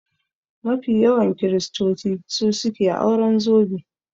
Mafi yawan kiristoci su suke auren zobe